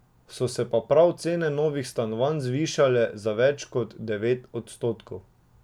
So se pa prav cene novih stanovanj zvišale za več kot devet odstotkov.